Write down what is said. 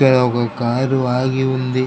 ఇక్కడ ఒక కారు ఆగి ఉంది.